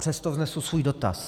Přesto vznesu svůj dotaz.